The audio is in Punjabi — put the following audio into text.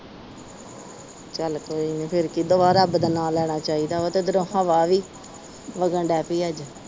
ਚਲ ਕੋਈ ਨੀ ਫਿਰ ਦੁਬਾਰਾ ਲੈਣਾ ਚਾਹੀਦਾ। ਉਧਰੋਂ ਹਵਾ ਵੀ ਵਗ ਦਈ ਅੱਜ।